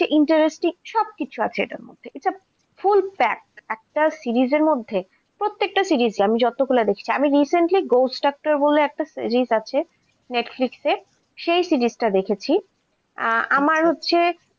সব কিছু আছে এটার মধ্যে full fact একটা series এর মধ্যে প্রত্যেকটা series এ আমি যতগুলা দেখছি, আমি recenty Ghost doctor বলে একটা series আছে Netflix এ সেই series টা দেখেছি। আমার হচ্ছে।